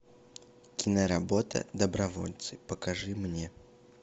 киноработа добровольцы покажи мне